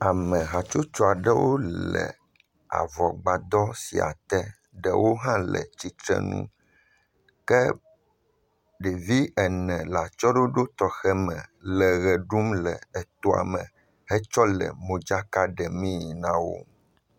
Ame hatsotso aɖewo le avɔgbadɔ sia te, ɖewo ha le tsitre nu ke ɖevi ene le atsyɔ̃ɖoɖo tɔxɛ me le ʋe ɖum hetsɔ le modzaka ɖemii na wo.